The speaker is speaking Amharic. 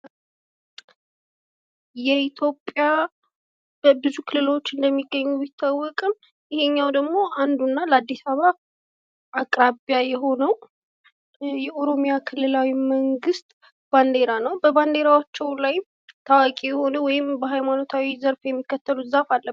በኢትዮጵያ ብዙ ክልሎች መኖራቸው የሚታዎቅ ሲሆን ይሄ ደግሞ አንዱና ለ አዲስ አበባ ቅርብ የሆነው የኦሮሚያ ብሄራዊ ክልላዊ መንግስት ባንዲራ ሲሆን በባንዲራው ላይም ታዋቂ የሆነ ወይም በሃይማኖት ዘርፍ የሚከተሉት ዛፍ አለበት።